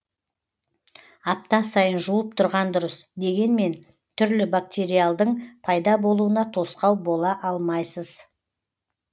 апта сайын жуып тұрған дұрыс дегенмен түрлі бактериалдың пайда болуына тосқау бола алмайсыз